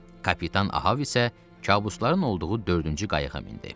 Kapitan Ahab isə kabusların olduğu dördüncü qayığa mindi.